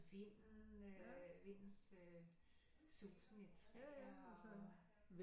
Vinden øh vindens øh susen i træer